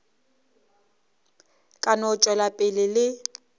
ka no tšwela pele le